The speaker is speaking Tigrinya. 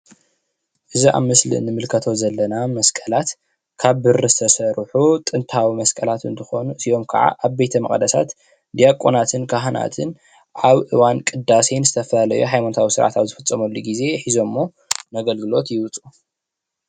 እዚ ኣብ ስእሊ ንምልከቶ ዘለና መስቀላት ካብ ብሪ ዝተሰርሑ ጥንታዊ መስቀላት እንትኮኑ እዚኦም ከዓ ቤተ መቅደሳት ዲያቆናትን ካህናትን ኣብ እዋን ቅዳሴን ዝተፈላለዩ ሃይማኖታዊ ስርዓታት ዝፍፀመሉ ግዜ ሒዘሞዎ ንኣገልግሎት ይወፁ።